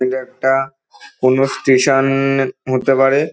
এটা একটা কোন স্টেশা-আ-ন হতে পারে।